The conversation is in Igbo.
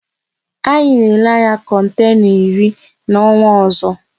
Anyị na ele anya kontena iri n'ọnwa ọzọ